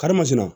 Karimasina